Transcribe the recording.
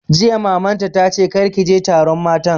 Jiya Mamanta ta ce 'kar ki je taron matan'!